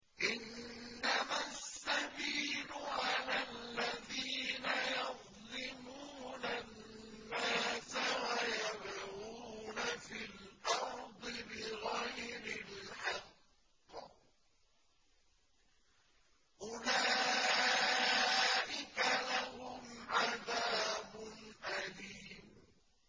إِنَّمَا السَّبِيلُ عَلَى الَّذِينَ يَظْلِمُونَ النَّاسَ وَيَبْغُونَ فِي الْأَرْضِ بِغَيْرِ الْحَقِّ ۚ أُولَٰئِكَ لَهُمْ عَذَابٌ أَلِيمٌ